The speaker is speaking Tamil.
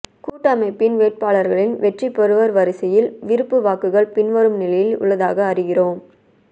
கூட்டமைப்பின் வேட்பாளர்களின் வெற்றி பெறுவோர் வரிசையில் விருப்பு வாக்குகள் பின்வரும் நிலையில் உள்ளதாக அறிகிறோம்